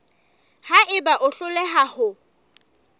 ha eba o hloleha ho